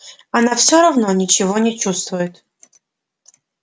она все равно ничего не чувствует